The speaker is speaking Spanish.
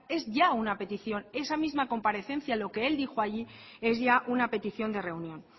es ya una petición esa misma comparecencia lo que él dijo allí es ya una petición de reunión